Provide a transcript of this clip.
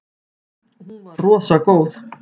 Hún var rosa góð.